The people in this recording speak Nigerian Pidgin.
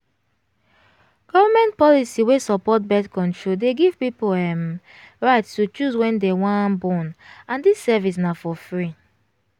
government policy wey support birth-control dey give people um right to choose wen dem wan born and this service na for free